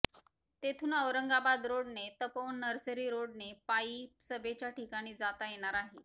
तेथून औरंगाबद रोडने तपोवन नर्सरी रोडने पायी सभेच्या ठिकाणी जाता येणार आहे